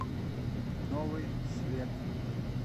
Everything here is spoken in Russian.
новый свет